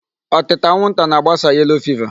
Ọtịta anwụnta na-agbasa yellow fever.